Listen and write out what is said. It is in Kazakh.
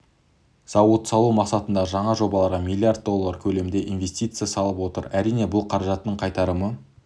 зауыт салу мақсатындағы жаңа жобаларға миллиард доллары көлемінде инвестиция салып отыр әрине бұл қаражаттың қайтарымы